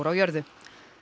jörðu